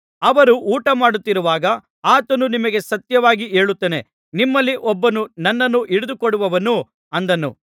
ಅವರು ಊಟಮಾಡುತ್ತಿರುವಾಗ ಆತನು ನಿಮಗೆ ಸತ್ಯವಾಗಿ ಹೇಳುತ್ತೇನೆ ನಿಮ್ಮಲ್ಲಿ ಒಬ್ಬನು ನನ್ನನ್ನು ಹಿಡಿದುಕೊಡುವನು ಅಂದನು